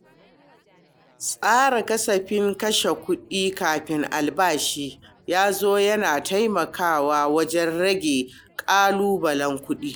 Tsara kasafin kashe kuɗi kafin albashi ya zo yana taimakawa wajen rage ƙalubalen kuɗi.